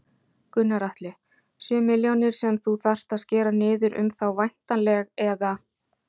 Gunnar Atli: Sjö milljónir sem þú þarft að skera niður um þá væntanleg eða?